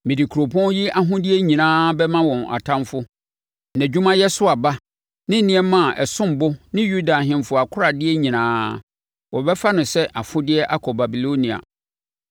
Mede kuropɔn yi ahodeɛ nyinaa bɛma wɔn atamfoɔ; nʼadwumayɛ so aba, ne nneɛma a ɛsom bo ne Yuda ahemfo akoradeɛ nyinaa. Wɔbɛfa no sɛ afodeɛ akɔ Babilonia.